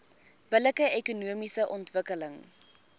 billike ekonomiese ontwikkeling